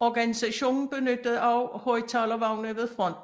Organisationen benyttede også højttalervogne ved fronten